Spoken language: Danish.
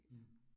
Mh